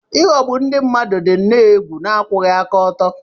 Ịghọgbu ndị mmadụ dị nnọọ egwu na akwụghị aka ọtọ.